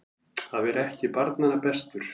Að vera ekki barnanna bestur